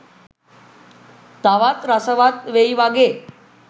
තවත් රසවත් වෙයි වගේ.